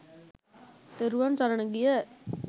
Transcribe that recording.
තෙරුවන් සරණ ගිය